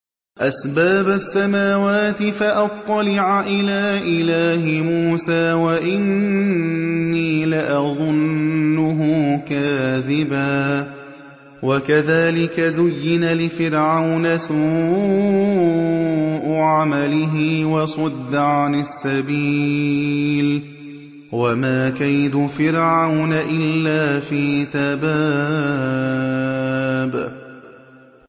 أَسْبَابَ السَّمَاوَاتِ فَأَطَّلِعَ إِلَىٰ إِلَٰهِ مُوسَىٰ وَإِنِّي لَأَظُنُّهُ كَاذِبًا ۚ وَكَذَٰلِكَ زُيِّنَ لِفِرْعَوْنَ سُوءُ عَمَلِهِ وَصُدَّ عَنِ السَّبِيلِ ۚ وَمَا كَيْدُ فِرْعَوْنَ إِلَّا فِي تَبَابٍ